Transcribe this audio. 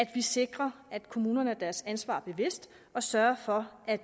vi sikrer at kommunerne er sig deres ansvar bevidst og sørger for at